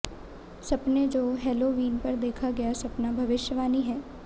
सपने जो हेलोवीन पर देखा गया सपना भविष्यवाणी है